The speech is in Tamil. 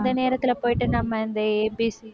உம்